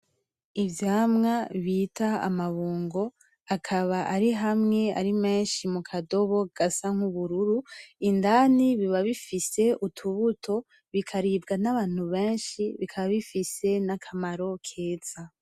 Ivyamwa bita amabungo, akaba ari hamwe ari menshi mukadobo gasa nubururu ,indani biba bifise utubuto bikaribwa n'Abantu benshi bikaba bifise n'akamaro keza.